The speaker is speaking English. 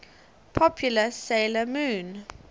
popular 'sailor moon